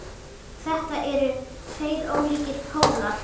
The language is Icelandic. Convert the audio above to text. Þetta eru tveir ólíkir pólar.